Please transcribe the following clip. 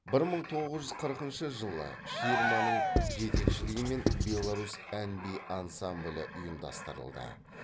бір мың тоғыз жүз қырқыншы жылы ширманың жетекшілігімен беларусь ән би ансамблі ұйымдастырылды